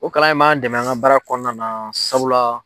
O kalan in m'an dɛmɛ an ka baara kɔnɔna na sabula